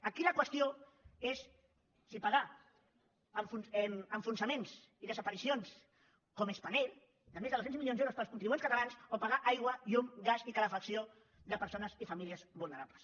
aquí la qüestió és si pagar enfonsaments i desaparicions com spanair de més de dos cents milions d’euros per als contribuents catalans o pagar aigua llum gas i calefacció de persones i famílies vulnerables